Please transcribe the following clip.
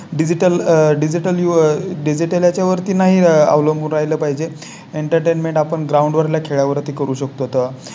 Digital digital digital त्याच्यावरती नाही अवलंबून राहिलं पाहिजे. Entertainment आपण ग्राउंड वर खेळ यावरती करू शकतो